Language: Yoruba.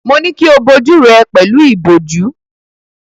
Mo ní kí o bo ojú rẹ pẹ̀lú ìbòjú.